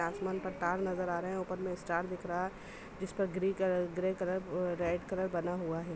आसमान पर तार नजर आ रहे है ऊपर मे स्टार दिख रहा है जिस पर green colour grey colour red colour बना हुआ है।